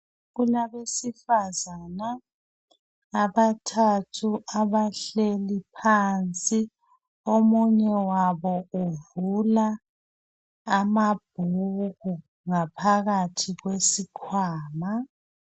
Kulabesifazana abathathu abahleli phansi. Omunye wayo uvula amabhuku ngaphakathi kwesikwama.